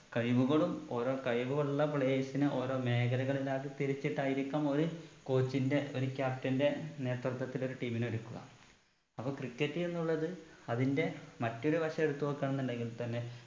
കഴിവുകളും ഓരോ കഴിവുകളുള്ള players നെ ഓരോ മേഘലകളിലാക്കി തിരിച്ചിട്ടായിരിക്കാം ഒരു coach ന്റെ ഒരു captain ന്റെ നേത്രത്വത്തിൽ ഒരു team നെ എടുക്കുക അപ്പൊ cricket എന്നുള്ളത് അതിന്റെ മറ്റൊരു വശം എടുത്ത് നോക്ക ഉണ്ടെങ്കിൽ തന്നെ